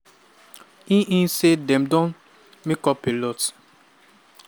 e e say dem don "make up a lot".